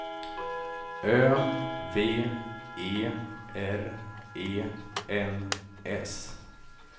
Ö V E R E N S